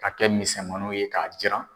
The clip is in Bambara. Ka kɛ misɛnmniw ye k'a jiran.